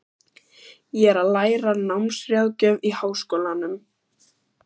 Ég er að læra námsráðgjöf í Háskólanum.